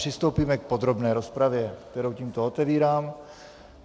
Přistoupíme k podrobné rozpravě, kterou tímto otevírám.